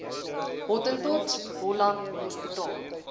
hottentots holland hospitaal